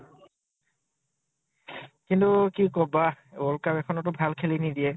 কিন্তু কি কবা । world cup এখনতো ভাল খেলি নিদিয়ে ।